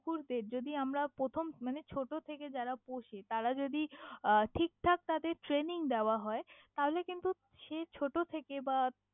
কুকুরদের যদি আমারা প্রথম মানে ছোটো থেকে যারা পোষে তারা যদি আহ ঠিক ঠাক তাদের training দেওয়া হয় তাহলে কিন্তু সে ছোটো থেকে বা।